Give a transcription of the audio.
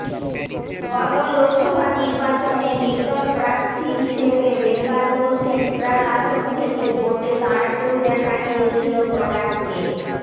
গত লোকসভা নির্বাচনে নির্দল প্রার্থী হিসাবে বেঙ্গালুরু সেন্ট্রাল আসন থেকে ভোটে দাঁড়াতেও দেখা গিয়েছিল প্রকাশকে